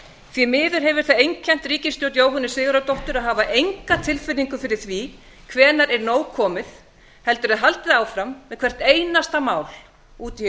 því miður hefur það einkennt ríkisstjórn jóhönnu sigurðardóttur að hafa enga tilfinningu fyrir því hvenær er nóg komið heldur er haldið áfram með hvert einasta mál út